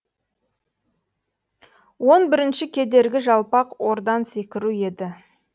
он бірінші кедергі жалпақ ордан секіру еді